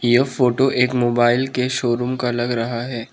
यह फोटो एक मोबाइल के शोरूम का लग रहा है।